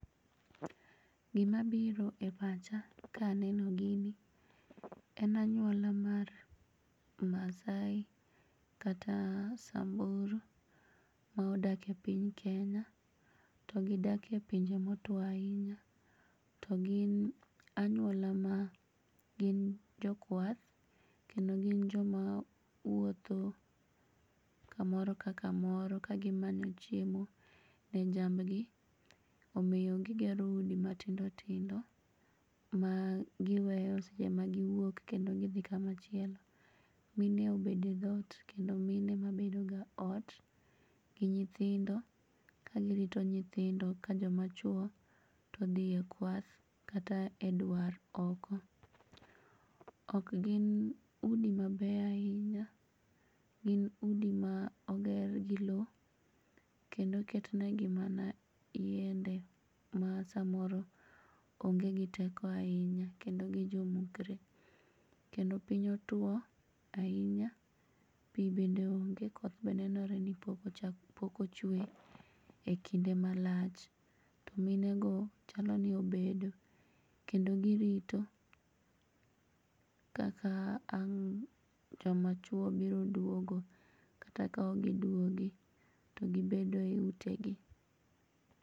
Gimabiro e pacha kaneno gini en anyuola mar Masai kata Samburu ma odake piny Kenya to gidake pinje motuo ainya to gin anyuola ma gin jokwath kendo gin joma wuotho kamoro ka kamoro ka gimanyo chiemo ne jamgi omiyo gigero udi matindotindo ma giweyo seche ma giwuok kendo gidhii kama chielo. Mine obede dhot kendo mine ema bedoga e ot gi nyithindo kagirito nyithindo ka jomachuo todhie kwath kata e dwar oko. Okgin udi mabeyo ainya. Gin udi ma oger gi lo kendo oketnegi mana yiende ma samoro onge gi teko ainya kendo gijomukre kendo piny otuo ainya pii bende onge koth be nenore ni pok ochue e kinde malach. To minego chaloni obedo kendo girito kaka ang' jomachuo biro duogo kata kaokgiduogi to gibedo eutegi.